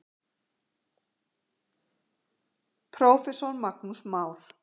Prófessor Magnús Már